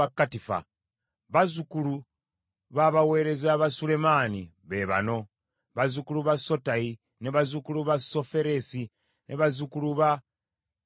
Bazzukulu b’abaweereza ba Sulemaani be bano: bazzukulu ba Sotayi, bazzukulu ba Soferesi, bazzukulu ba Perida,